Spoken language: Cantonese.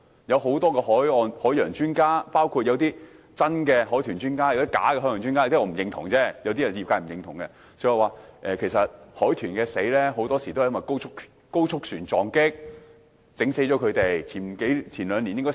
有些海岸、海洋專家，包括有真有假的海豚專家——有些專家我不認同，有些則是業界不認同的——說海豚很多時候都是遭到高速船隻撞擊而死。